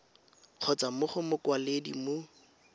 kgotsa mo go mokwaledi mo